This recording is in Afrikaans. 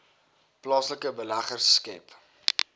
plaaslike beleggers skep